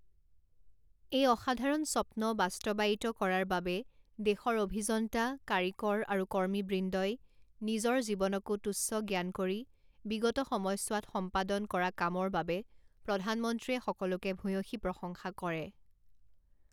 এই অসাধাৰণ স্বপ্ন বাস্তৱায়িত কৰাৰ বাবে দেশৰ অভিযন্তা, কাৰিকৰ আৰু কৰ্মীবৃন্দই নিজৰ জীৱনকো তুচ্ছ জ্ঞান কৰি বিগত সময়চোৱাত সম্পাদন কৰা কামৰ বাবে প্ৰধানমন্ত্ৰীয়ে সকলোকে ভূয়সী প্ৰশংসা কৰে।